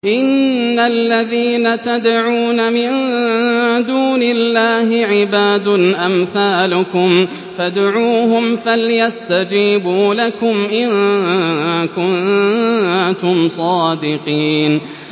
إِنَّ الَّذِينَ تَدْعُونَ مِن دُونِ اللَّهِ عِبَادٌ أَمْثَالُكُمْ ۖ فَادْعُوهُمْ فَلْيَسْتَجِيبُوا لَكُمْ إِن كُنتُمْ صَادِقِينَ